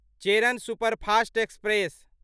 Cheran superfast express